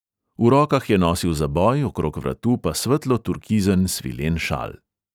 V rokah je nosil zaboj, okrog vratu pa svetlo turkizen svilen šal.